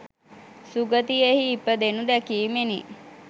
සුගතියෙහි ඉපදෙනු දැකීමෙනි.